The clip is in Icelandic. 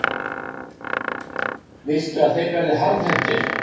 Viltu að þeir verði harðhentir?